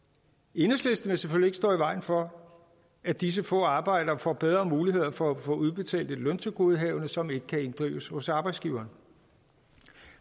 enhedslisten vil selvfølgelig ikke stå i vejen for at disse få arbejdere får bedre muligheder for at få udbetalt et løntilgodehavende som ikke kan inddrives hos arbejdsgiveren